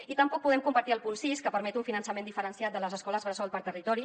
i tampoc podem compartir el punt sis que permet un finançament diferenciat de les escoles bressol per territori